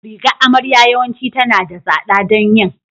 Rigar amarya yawanci tana da tsada don yin